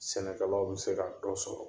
Sɛnɛkɛlaw bɛ se ka dɔ sɔrɔ